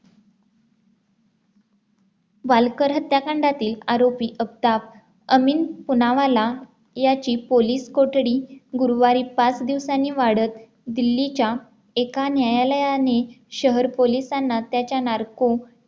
बालकर हत्याकांडातील आरोपी आफताब अमीन पुनावाला याची पोलीस कोठडी गुरुवारी पाच दिवसांनी वाढत दिल्लीच्या एका न्यायालयाने शहर पोलिसांना त्याच्या narco